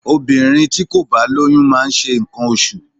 Obìnrin tí kò bá lóyún máa ń ṣe nǹkan oṣù.